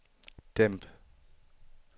dæmp